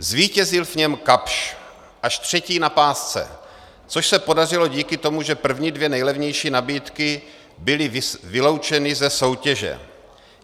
Zvítězil v něm Kapsch, až třetí na pásce, což se podařilo díky tomu, že první dvě nejlevnější nabídky byly vyloučeny ze soutěže.